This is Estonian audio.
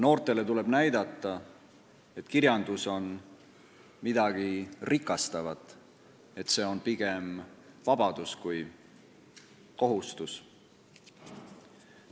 Noortele tuleb näidata, et kirjandus on midagi rikastavat, see on pigem vabadus kui kohustus.